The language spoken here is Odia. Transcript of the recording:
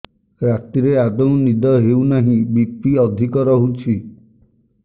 ରାତିରେ ଆଦୌ ନିଦ ହେଉ ନାହିଁ ବି.ପି ଅଧିକ ରହୁଛି